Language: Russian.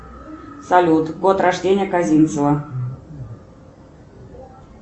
салют год рождения козинцева